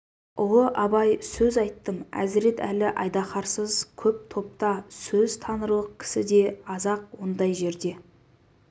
ұлы абай сөз айттым әзірет әлі айдаһарсыз көп топта сөз танырлық кісі де аз-ақ ондай жерде